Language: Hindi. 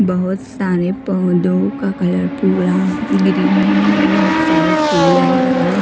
बहुत सारे पौधों का कलर पूरा ग्रीन है और बहुत सारे फूल है अलग-अलग।